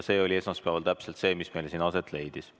See oli esmaspäeval täpselt see, mis meil siin aset leidis.